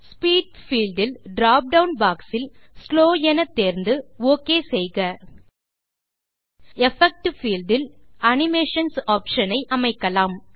speed field இல் drop down boxஇல் slow தேர்ந்து ஒக் செய்க எஃபெக்ட் பீல்ட் இல் அனிமேஷன்ஸ் ஆப்ஷன்ஸ் ஐ அமைக்கலாம்